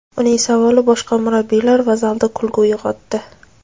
Uning savoli boshqa murabbiylar va zalda kulgu uyg‘otdi.